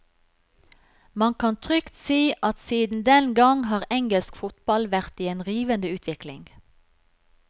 Man kan trygt si at siden den gang har engelsk fotball vært i en rivende utvikling.